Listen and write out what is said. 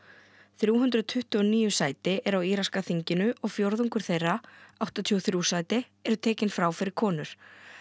þrjú hundruð tuttugu og níu sæti eru á íraska þinginu og fjórðungur þeirra áttatíu og þrjú sæti eru tekin frá fyrir konur